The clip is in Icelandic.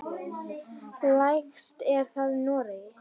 Lægst er það í Noregi.